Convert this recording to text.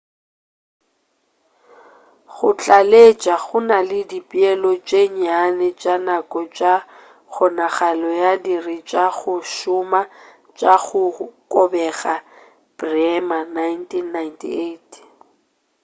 go tlaleletša go na le dipeelo tše nnyane tša nako tša kgonagalo ya diiri tša go šoma tša go kobega. bremer 1998